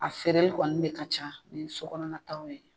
A feereli kɔni ne ka ca ni so kɔnɔna taw ye.